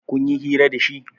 Kunyi hira da shi?